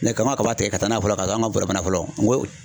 k'an ka kabaw tikɛ ka taa n'a ye fɔlɔ, ka taa an ka bɔrɔ fana folon. Nga